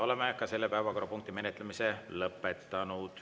Oleme ka selle päevakorrapunkti menetlemise lõpetanud.